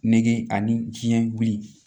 Nege ani biɲɛkili